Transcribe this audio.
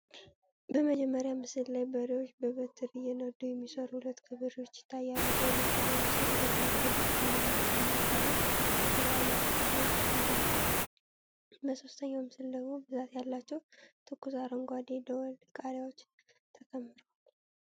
በመጀመሪያው ምስል ላይ በሬዎችን በበትር እየነዱ የሚሰሩ ሁለት ገበሬዎች ይታያሉ። በሁለተኛው ምስል ደማቅ ብርቱካናማ ጭማቂ እና የተለያዩ ፍራፍሬዎች ቀርበዋል። በሦስተኛው ምስል ደግሞ ብዛት ያላቸው ትኩስ አረንጓዴ ደወል ቃሪያዎች ተከምረዋል።